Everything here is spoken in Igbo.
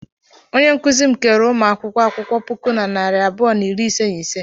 Onye nkụzi m keere ụmụ akwụkwọ akwụkwọ puku na narị abụọ na iri ise na ise.